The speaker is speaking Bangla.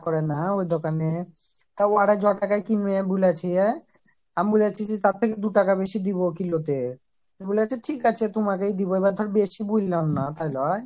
করে না হ্যাঁ ওই দোকানে তা ও আবার ছ' টাকায় কিনবে বলেছে আমি বলেছি যে তার থাকে দুটাকা বেশি ডুব কিলো তে তো বলেছে ঠিক আছে তোমাকেই দিবো ধর এরপর বেশি বল্লাম থালে